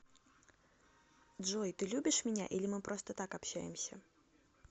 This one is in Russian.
джой ты любишь меня или мы просто так общаемся